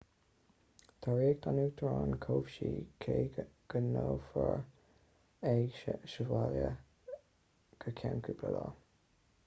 tá riocht an uachtaráin cobhsaí cé go n-aonrófar é sa bhaile go ceann cúpla lá